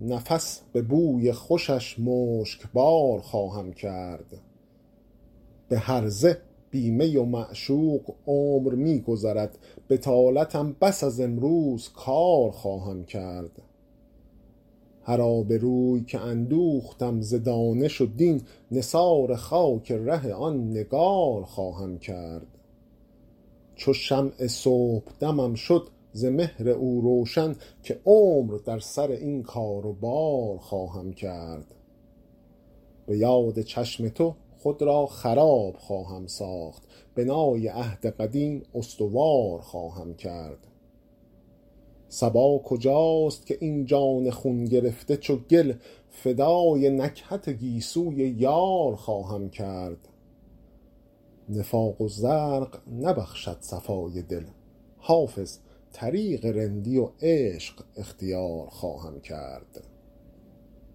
نفس به بوی خوشش مشکبار خواهم کرد به هرزه بی می و معشوق عمر می گذرد بطالتم بس از امروز کار خواهم کرد هر آبروی که اندوختم ز دانش و دین نثار خاک ره آن نگار خواهم کرد چو شمع صبحدمم شد ز مهر او روشن که عمر در سر این کار و بار خواهم کرد به یاد چشم تو خود را خراب خواهم ساخت بنای عهد قدیم استوار خواهم کرد صبا کجاست که این جان خون گرفته چو گل فدای نکهت گیسوی یار خواهم کرد نفاق و زرق نبخشد صفای دل حافظ طریق رندی و عشق اختیار خواهم کرد